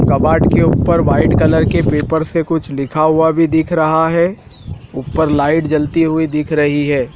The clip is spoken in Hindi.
कबाड़ के ऊपर व्हाइट कलर के पेपर से कुछ लिखा हुआ भी दिख रहा है ऊपर लाइट जलती हुई दिख रही है।